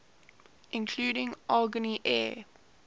including agni air